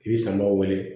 I bɛ samaw weele